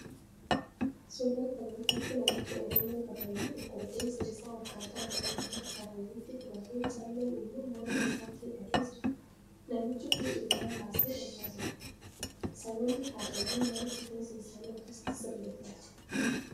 Suuraa kana irratti namichi Oromoo Kaarrayyuu tokko rifeensa isaa akkataa aadaa uummata Kaarrayyuuti filatee callee immoo morma isaatti hidhatee jira. Namichi kun ilkaan baasee kolfaa jira. Saboonni Kaarrayyuu maaliif rifeensa isaanii akkasitti sirreeffatu?